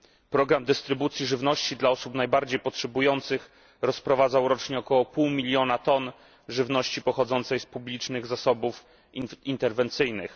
Program dystrybucji żywności dla osób najbardziej potrzebujących rozprowadzał rocznie około pół miliona ton żywności pochodzącej z publicznych zasobów interwencyjnych.